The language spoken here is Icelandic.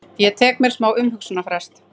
Ég tek mér smá umhugsunarfrest.